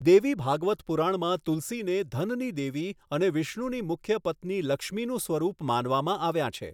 દેવી ભાગવત પુરાણમાં તુલસીને ધનની દેવી અને વિષ્ણુની મુખ્ય પત્ની લક્ષ્મીનું સ્વરૂપ માનવામાં આવ્યાં છે.